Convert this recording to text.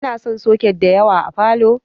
Ana sa soket da yawa a falow